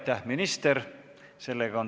Aitäh, minister!